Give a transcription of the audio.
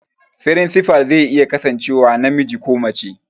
Firinsifal zai iya kasancewa namiji ko mace